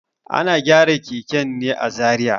Ana gyaran keken ne a Zariya.